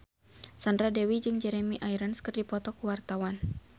Sandra Dewi jeung Jeremy Irons keur dipoto ku wartawan